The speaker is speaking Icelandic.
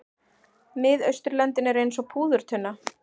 Miðausturlöndin eru eins og púðurtunna.